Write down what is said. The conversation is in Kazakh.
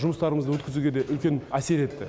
жұмыстарымызды өткізуге де үлкен әсер етті